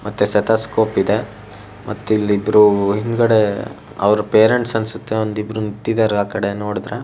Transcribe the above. ಮತ್ತೆ ಸೇತಾಸ್ಕೋಪ್ ಇದೆ ಮತ್ತೆ ಇಲ್ಲಿ ಇಬ್ರೂ ಹಿಂದ್ಗಡೇ ಅವ್ರ್ ಪೇರೆಂಟ್ಸ್ ಅನ್ಸತ್ತೆ ಒಂದ್ ಇಬ್ರ ನಿಂತಿದರ್ ಆಕಡೆ ನೋಡದ್ರೆ.